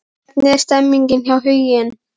Hvernig er stemningin hjá Huginn?